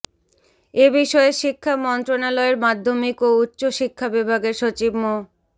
এ বিষয়ে শিক্ষা মন্ত্রণালয়ের মাধ্যমিক ও উচ্চ শিক্ষা বিভাগের সচিব মো